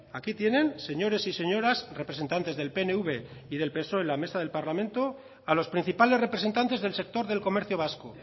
aquí tienen señores y señoras representantes del pnv y del psoe la mesa del parlamento a los principales representantes del sector del comercio vasco